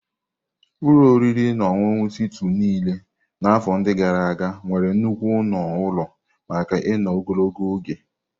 Ụlọ oriri na ọṅụṅụ Suitu niile na afọ ndi gara aga nwere nnukwu ọnụ ụlọ maka ino ogologo oge.